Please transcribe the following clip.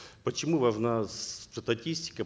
почему важна статистика